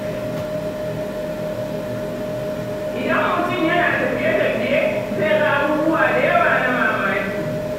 Idan mutum yana tafiye-tafiye, zai ga abubuwa da yawa na mamaki.